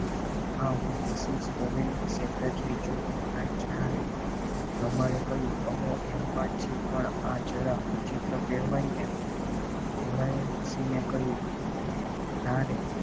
હા હું Mrs ઓવેરની secretary છું બુરાઈ જણાવ્યું લંબાડે કહ્યું એ વાત છે પણ આ જરા વિચિત્ર કહેવાય ને બોરાઈ હસીને કહ્યું ના રે